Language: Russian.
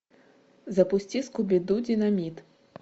запусти скуби ду динамит